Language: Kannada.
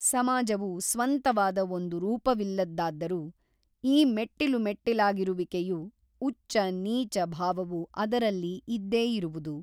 ಸಮಾಜವು ಸ್ವಂತವಾದ ಒಂದು ರೂಪವಿಲ್ಲದ್ದಾದರೂ ಈ ಮೆಟ್ಟಿಲುಮೆಟ್ಟಿಲಾಗಿರುವಿಕೆಯು ಉಚ್ಚ ನೀಚ ಭಾವವು ಅದರಲ್ಲಿ ಇದ್ದೇ ಇರುವುದು.